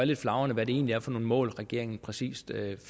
lidt flagrende hvad det egentlig er for nogle mål regeringen præcis